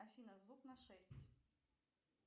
афина звук на шесть